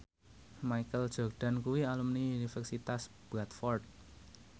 Michael Jordan kuwi alumni Universitas Bradford